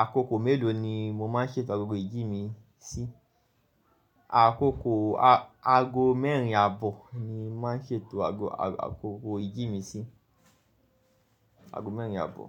àkókò mélòó ni mo máa ń ṣètò agogo ìjì mi sí? Àkókò aago mẹ́rin àbọ̀ ni mo máa ń ṣètò agogo ìjì mi sí, aago mẹ́rin àbọ̀